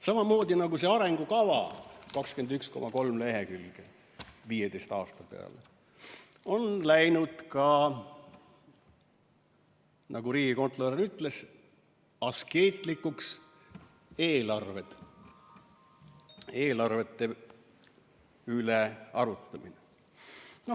Samamoodi nagu see arengukava – 21,3 lehekülge 15 aasta peale – on läinud, nagu riigikontrolör ütles, askeetlikuks ka eelarved, eelarvete üle arutamine.